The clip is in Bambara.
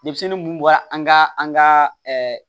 Denmisɛnnin mun bɔra an ka an ka